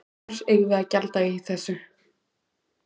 Hvers eigum við að gjalda í þessu?